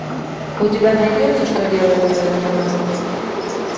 у тебя найдется что делает твоя жена